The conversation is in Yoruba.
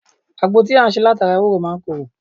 Àgbo tí a ṣe láti ara ewúro máa ń koro